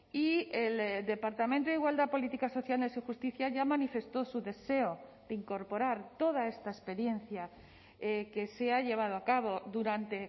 y el departamento de igualdad políticas sociales y justicia ya manifestó su deseo de incorporar toda esta experiencia que se ha llevado a cabo durante